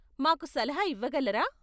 మాకు సలహా ఇవ్వగలరా?